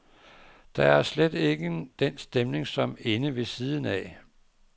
Der er slet ikke den stemning, som inde ved siden af.